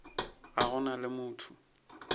ga go na le motho